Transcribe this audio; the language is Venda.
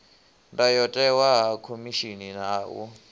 ndayotewa ha khomishini ha u